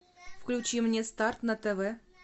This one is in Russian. включи мне старт на тв